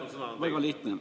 Küsimus on väga lihtne.